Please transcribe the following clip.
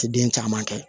Ti den caman kɛ